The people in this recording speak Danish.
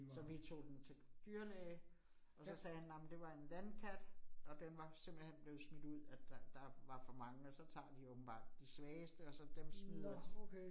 Så vi tog den til dyrlæge, og så sagde han, nej men det var en landkat, og den var simpelthen blevet smidt ud, at der der var for mange, og så tager de åbenbart de svageste, og så dem smider